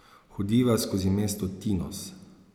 Hodiva skozi mesto Tinos.